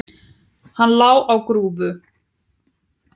Hann lá á grúfu.